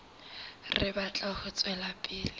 re batla ho tswela pele